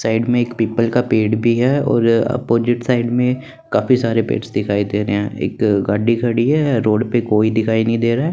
Side में एक पीपल का पेड़ भी है और अपोजिट साइड में काफी सारे पेड्स दिखाई दे रहे हैं एक गाडी खड़ी है रोड पे कोई दिखाई नहीं दे रहा है।